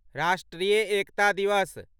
राष्ट्रीय एकता दिवस